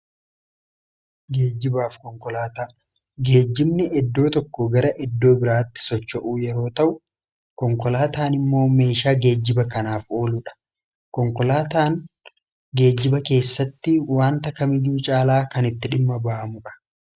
Geejjibaaf konkolaataa geejjimni iddoo tokko gara iddoo biraatti socho'uu yeroo ta'u konkolaataan immoo meeshaa geejjiba kanaaf oluudha . Konkolaataan geejjiba keessatti wanta kamiyyuu caalaa kan itti dhimma ba'amuudha.